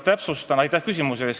Aitäh küsimuse eest!